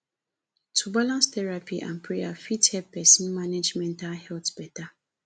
to balance therapy and prayer fit help pesin manage mental health beta